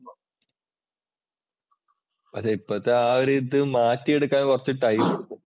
അതെ ഇപ്പോഴത്തെ ആ ഒരു ഇത് മാറ്റിയെടുക്കാൻ കുറച്ച് ടൈം എടുക്കും.